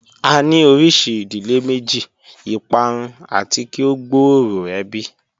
A ni orisi idile meji, iparun ati ki o gbooro ebi